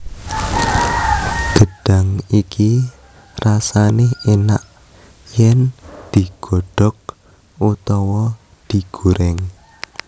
Gedhang iki rasane enak yen digodhog utawa digoreng